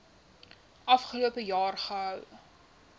afgelope jaar gehou